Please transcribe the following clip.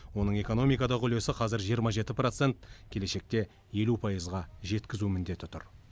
оның экономикадағы үлесі қазір жиырма жеті процент келешекте елу пайызға жеткізу міндеті тұр